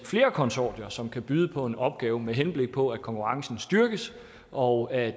flere konsortier som kan byde på en opgave med henblik på at konkurrencen styrkes og at